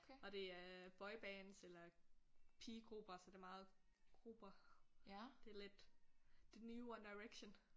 Og det er boybands eller pigegrupper så det meget grupper det er lidt det nye One Direction